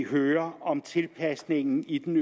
vi hører om tilpasningen i den